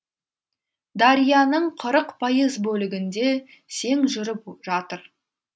дарияның қырық пайыз бөлігінде сең жүріп жатыр